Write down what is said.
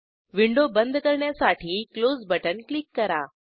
window बंद करण्यासाठी close button click करा